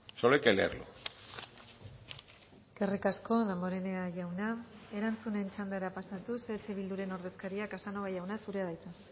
solo hay que leerlo eskerrik asko damborenea jauna erantzunen txandara pasatuz eh bilduren ordezkaria casanova jauna zurea da hitza